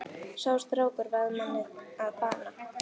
Sá strákur varð manni að bana.